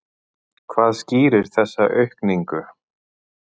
Hvað skýrir þessa aukningu?